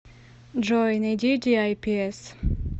джой найди диайпиэс